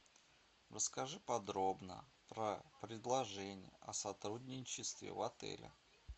расскажи подробно про предложение о сотрудничестве в отеле